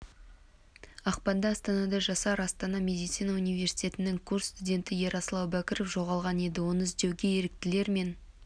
ақпанда астанада жасар астана медицина университетінің курс студенті ерасыл әубәкіров жоғалған еді оны іздеуге еріктілер мен